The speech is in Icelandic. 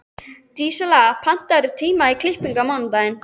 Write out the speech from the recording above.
Dísella, pantaðu tíma í klippingu á mánudaginn.